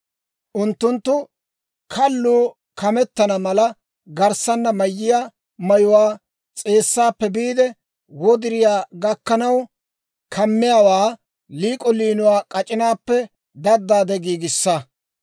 «Unttunttu kalluu kametana mala garssanna mayiyaa mayuwaa, s'eessaappe biide wodiriyaa gakkanaw kammiyaawaa, liik'o liinuwaa k'ac'inaappe daddaade giigissa.